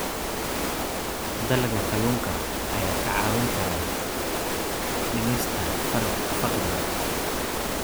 Dalagga kalluunka ayaa kaa caawin kara dhimista faqriga.